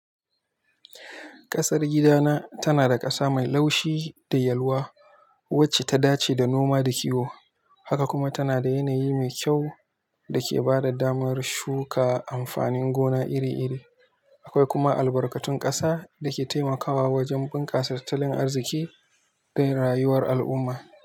Kasar gidana tana da ƙasa mai laushi da yalwa wacce ta dace da noma da kiwo, haka kuma tana da yanayi mai kyau da ke ba da damar shuka amfanin gona iri-iri. Akwai kuma albarkatun ƙasa da ke taimakawa wajen bunkasa tattalin arziki da rayuwar al'umma.